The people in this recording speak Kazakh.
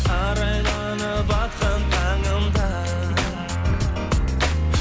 арайланып атқан таңым да